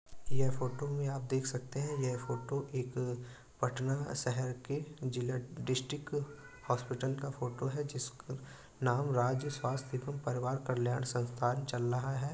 यह फोटो में आप देख सकते है यह फोटो है एक पटना शहर के जिला डिस्ट्रिक हॉस्पिटल का फोटो है जीसका नाम राज्य स्वास्थ्य एवं परिवार कल्याण संस्थान चल रहा है।